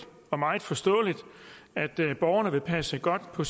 og meget forståeligt at borgerne vil passe godt på